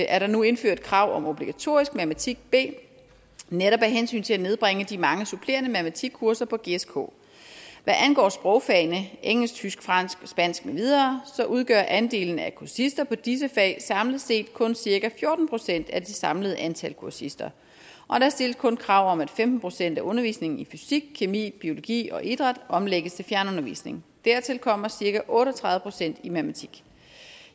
er der nu indført krav om obligatorisk matematik b netop af hensyn til at nedbringe de mange supplerende matematikkurser på gsk hvad angår sprogfagene engelsk tysk fransk og spansk med videre udgør andelen af kursister på disse fag samlet set kun cirka fjorten procent af det samlede antal kursister og der stilles kun krav om at femten procent af undervisningen i fysik kemi biologi og idræt omlægges til fjernundervisning dertil kommer cirka otte og tredive procent i matematik